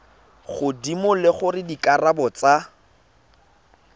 godimo le gore dikarabo tsa